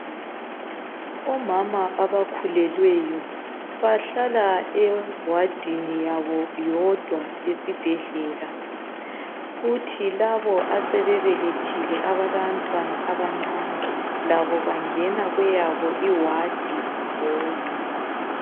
Omama abakhulelweyo bahlala ewadini yabo yodwa esibhedlela kuthi labo asebebelethile abalabantwana abancane labo bangena kweyabo iwadi bodwa.